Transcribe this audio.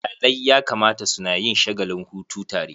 Iyalai ya kamata suna yin shagalin hutu tare.